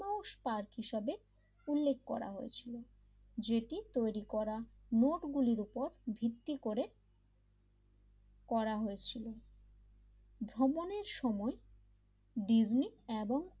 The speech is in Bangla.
মাউস পার্ক হিসেবে উল্লেখ করা হয়েছিল যেটি তৈরি করা মোট গুলির ওপর ভিত্তি করে করা হয়েছিল ভ্রমণের সময় ডিসনি এবং,